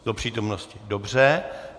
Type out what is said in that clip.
Do přítomnosti, dobře.